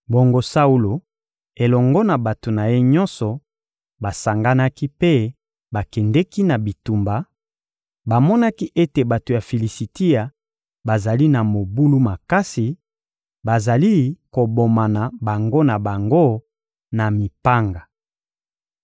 Bongo Saulo elongo na bato na ye nyonso basanganaki mpe bakendeki na bitumba; bamonaki ete bato ya Filisitia bazali na mobulu makasi, bazali kobomana bango na bango na mipanga.